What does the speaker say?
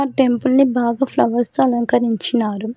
Temple ని బాగ flowers తో అలంకరించినారు.